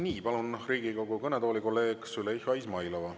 Nii, palun Riigikogu kõnetooli kolleeg Züleyxa Izmailova.